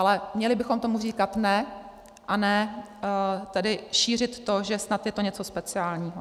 Ale měli bychom tomu říkat ne, a ne tedy šířit to, že snad je to něco speciálního.